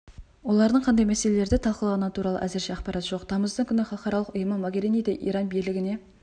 олардың қандай мәселелерді талқылағаны туралы әзірше ақпарат жоқ тамыздың күні халықаралық ұйымы могериниді иран билігіне